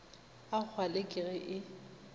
a kgwale ke ge e